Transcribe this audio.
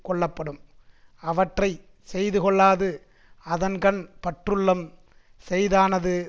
கொள்ளப்படும் அவற்றை செய்து கொள்ளாது அதன்கண் பற்றுள்ளம் செய்தானது